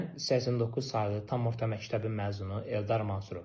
Mən 89 saylı tam orta məktəbin məzunu Eldar Mansurov.